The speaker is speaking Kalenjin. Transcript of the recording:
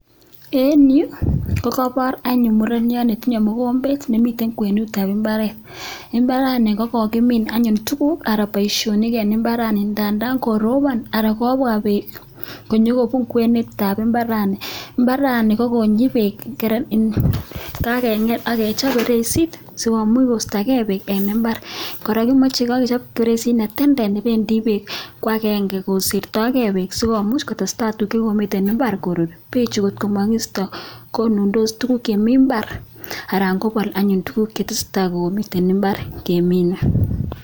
Eng yu kokaipor anyun mureniot netinye mugombet nemiten kwenutab imbaaret, imbaarani kokokimiin anyun tuguk anan boisionik eng imbaarani ndadan koropon anan kobwa beek konyokobun kwenetab imbaarani, imbarani kokonyi beek, kakengi akechop feresit sikomuch koistokee beek eng imbaar. Kora, kimachei kechop feresit ne tenden nebendi beek ko agenge kosiptoike beek sikomuch kotestai tuguk che komiten imbaar koruut. Beechu kotko makiisto konundos tuguk chemi imbaar anan kopol anyun tuguk chekotesetai eng imbaar keminei.